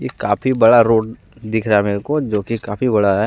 ये काफी बड़ा रोड दिख रहा है मेरे को जो कि काफी बड़ा है ।